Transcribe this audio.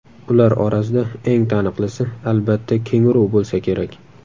Ular orasida eng taniqlisi, albatta, kenguru bo‘lsa kerak.